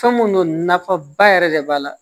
Fɛn mun don nafa ba yɛrɛ de b'a la